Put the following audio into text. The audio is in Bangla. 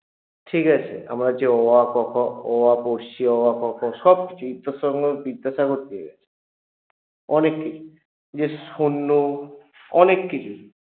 ঠিকাছে আমরা যে অ আ ক খ অ আ পড়ছি অ আ ক খ সবকিছুই তো ঈশ্বরচন্দ্র বিদ্যাসাগর দিয়ে গেছে অনেক কিছু এই অনেককিছু